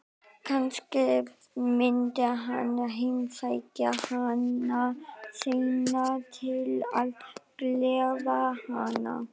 Kannski myndi hann heimsækja hana seinna til að gleðja hana.